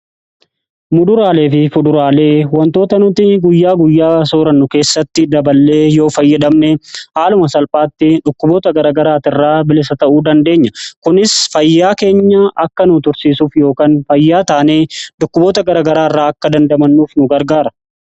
Muduraalee fi fuduraalee wantoota nuti guyyaa guyyaa soorannu keessatti daballee yoo fayyadamne haaluma salphaatti dhukkuboota garagaraati irraa bilisa ta'uu dandeenya. Kunis fayyaa keenya akka nu tursiisuuf yookan fayyaa taanee dhukkuboota garagaraa irraa akka dandamannuuf nu gargaara.